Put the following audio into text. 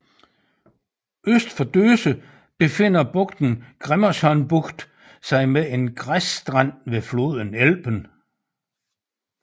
Øst for Döse befinder bugten Grimmershörnbucht sig med en græsstrand ved floden Elben